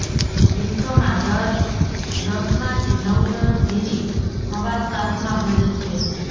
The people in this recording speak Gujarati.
વિશ્વમાં દર દસમાંથી નવ જણ ઝેરી હવા શ્વાસમાં ભરે છે